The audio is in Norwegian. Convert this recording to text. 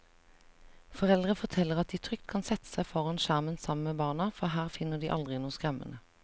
Foreldre forteller at de trygt kan sette seg foran skjermen sammen med barna, for her finner de aldri noe skremmende.